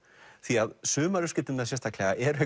því að sumar uppskriftirnar sérstaklega eru